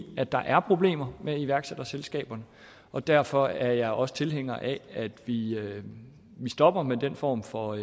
at der er problemer med iværksætterselskaberne og derfor er jeg også tilhænger af at vi at vi stopper med den form for